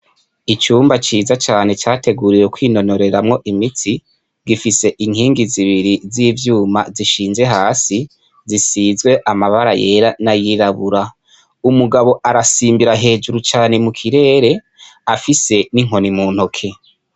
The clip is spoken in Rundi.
Icumba ciza cane categuriwe kwinonoreramwo imitsi gifise inkingi zibiri z'ivyuma zishinze hasi zisizwe amabara yera n'ayirabura. Umugabo arasimbira hejuru cane mu kirere afise n'inkoni mu ntoke.